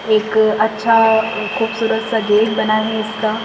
एक अच्छा खूबसूरत सा गेट बना है इसका--